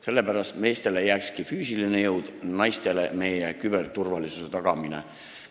Sellepärast võikski meestele jääda füüsilise jõu, naistele meie küberturvalisuse tagamine.